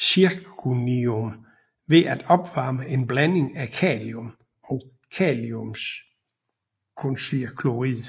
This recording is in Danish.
zirconium ved at opvarme en blanding af kalium og kaliumzirconiumfluorid